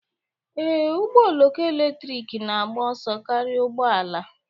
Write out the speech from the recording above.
Ee, ụgbọ oloko eletrik na-agba ọsọ karịa ụgbọ ala